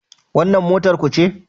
Wannan motar ku ce?